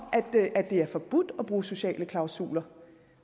det er forbudt at bruge sociale klausuler